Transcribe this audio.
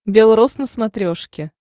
бел роз на смотрешке